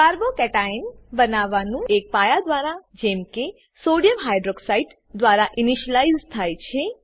carbo cation બનવાનું એક પાયા દ્વારા જેમ કે સોડિયમ હાઇડ્રોક્સાઇડ દ્વારા ઈનીશલાઈઝ થાય છે